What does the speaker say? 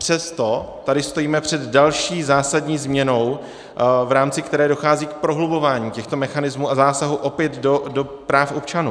Přesto tady stojíme před další zásadní změnou, v rámci které dochází k prohlubování těchto mechanismů a zásahů opět do práv občanů.